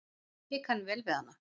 Ég kann vel við hana.